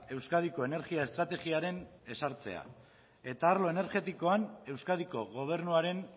euskadiko energia estrategiaren ezartzea eta arlo energetikoan euskadiko gobernuaren